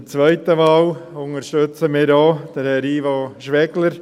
In der zweiten Wahl unterstützen wir Herrn Ivo Schwegler.